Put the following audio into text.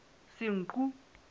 senqu